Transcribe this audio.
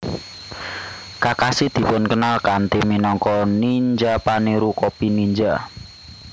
Kakashi dipun kenal kanthi minangka ninja paniru copy ninja